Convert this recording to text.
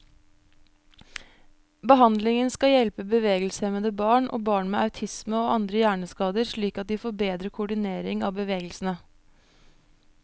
Behandlingen skal hjelpe bevegelseshemmede barn, og barn med autisme og andre hjerneskader slik at de får bedre koordinering av bevegelsene.